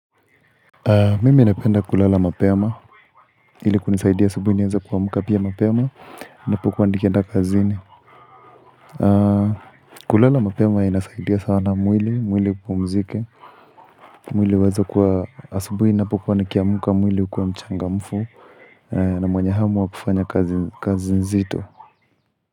Mimi napenda kulala mapema, ili kunisaidia asubuhi niweze kuamka pia mapema, ninapokuwa nikienda kazini kulala mapema inasaidia sana mwili, mwili upumzike, mwili uweze kuwa asubuhi ninapokuwa nikiamka mwili ukuwe mchangamfu na mwenye hamu wa kufanya kazi nzito.